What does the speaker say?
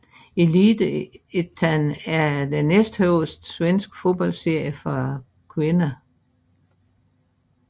Elitettan er den næsthøjeste svenske fodboldserie for kvinder